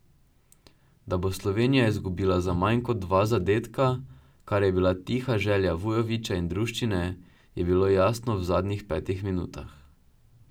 Da bo Slovenija izgubila za manj kot dva zadetka, kar je bila tiha želja Vujovića in druščine, je bilo jasno v zadnjih petih minutah.